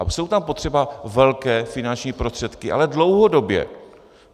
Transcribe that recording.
A jsou tam potřeba velké finanční prostředky, ale dlouhodobě.